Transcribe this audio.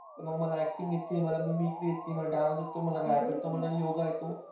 मग मला acting येते मला mimicry येते मला dance येतो मला rap येतो मला योगा येतो.